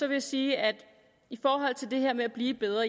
jeg sige at i forhold til det her med at blive bedre